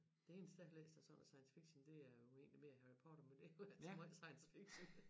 Det eneste jeg har læst af sådan noget science fiction det er jo egentlig mere Harry Potter men det er jo ikke somregel science fiction